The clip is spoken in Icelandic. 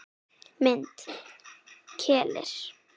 Mynd: Keilir